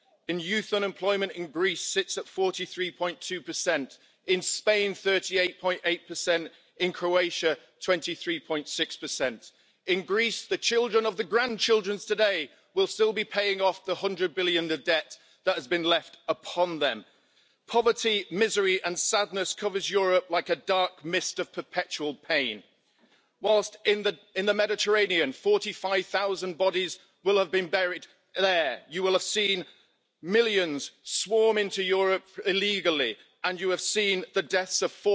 Garantien für Kinder in allen Mitgliedstaaten der Europäischen Union geht. Ich möchte darauf verweisen, dass der Vertrag ja sehr wohl die Möglichkeit bietet, auch die Frage des Mindesteinkommens EU weit zu regeln, und dass wir das unbedingt tun sollten. Es gibt in allen Mitgliedstaaten Initiativen gerade auch von Obdachlosen, von Armutsinitiativen, die europäisch vernetzt sind dafür, das endlich auf die Tagesordnung zu setzen, und wir würden uns sehr über eine Initiative der Kommission zur Einführung von EU weiten Mindesteinkommen freuen und würden es für wichtig halten, wenn das jetzt